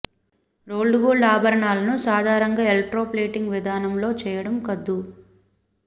rolled gold ఆభరణాలను సాధారణంగా electroplating విధానంలో చెయ్యడం కద్దు